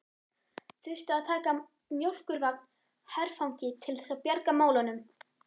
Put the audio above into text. Þurftu að taka mjólkurvagn herfangi til þess að bjarga málunum!